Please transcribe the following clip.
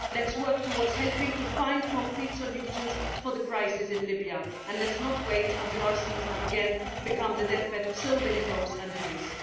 Let us work towards helping to find concrete solutions for the crisis in Libya and let us not wait until our seas have again become the deathbed of so many hopes and dreams.